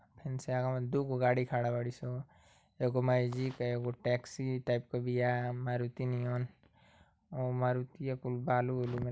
फेंसे अगवा दूगो गाड़ी खड़ा बाड़ी सो | एगो मैजिक आ एगो टैक्सी टाइप के बिया | मारुती नियन मारुतिया कुल बालू ओलू में --